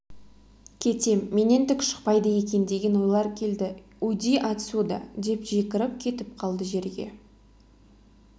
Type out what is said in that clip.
кетем менен түк шықпайды екен деген ойлар келді уйди отсюда деп жекіріп кетіп қалды жерге